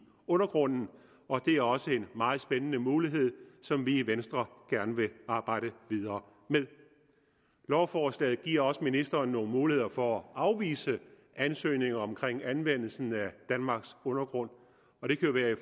undergrunden og det er også en meget spændende mulighed som vi i venstre gerne vil arbejde videre med lovforslaget giver også ministeren nogle muligheder for at afvise ansøgninger om anvendelsen af danmarks undergrund og det kan være i